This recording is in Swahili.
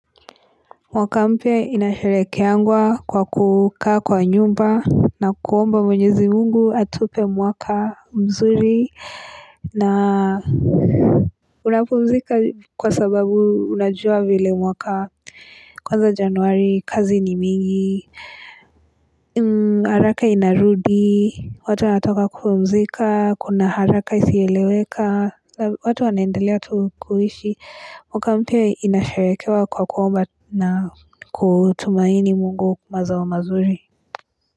Mwaka mpya inasharehekeangwa kwa kukaa kwa nyumba na kuomba mwenyezi mungu atupe mwaka mzuri na unapumzika kwa sababu unajua vile mwaka kwanza januari, kazi ni mingi, haraka inarudi, watu wanatoka kupumzika, kuna haraka isiyoeleweka, watu wanaendelea tu kuishi. Mwaka mpya inasharehekewa kwa kuomba na kutumaini mungu mazao mazuri.